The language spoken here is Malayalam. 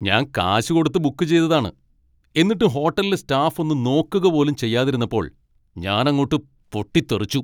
ഞാൻ കാശ് കൊടുത്ത് ബുക്ക് ചെയ്തതാണ്, എന്നിട്ടും ഹോട്ടലിലെ സ്റ്റാഫ് ഒന്ന് നോക്കുക പോലും ചെയ്യാതിരുന്നപ്പോൾ ഞാൻ അങ്ങോട്ട് പൊട്ടിത്തെറിച്ചു.